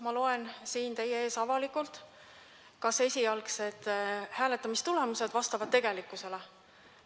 Ma loen siin teie ees avalikult üle, kas esialgsed hääletamistulemused vastavad tegelikkusele.